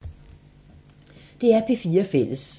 DR P4 Fælles